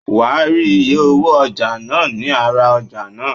Wàá rí iye owó ọjà náà ní ara ọjà náà.